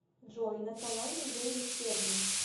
джой национальные деньги в сербии